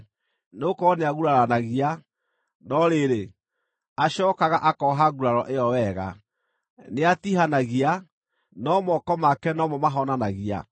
Nĩgũkorwo nĩaguraranagia, no rĩrĩ, acookaga akooha nguraro ĩyo wega; nĩatiihanagia, no moko make no mo mahonanagia.